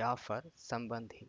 ಜಾಫರ್ ಸಂಬಂಧಿ